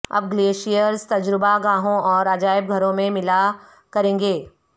اب گلیشیئرز تجربہ گاہوں اور عجائب گھروں میں ملا کریں گے